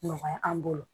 Nɔgɔya an bolo